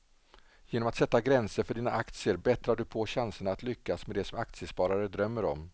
Genom att sätta gränser för dina aktier bättrar du på chanserna att lyckas med det som aktiesparare drömmer om.